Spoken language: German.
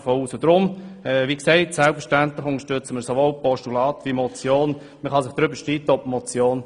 Wir unterstützen diesen Vorstoss sowohl als Postulat wie auch als Motion.